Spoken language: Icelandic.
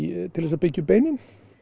til þess að byggja upp beinin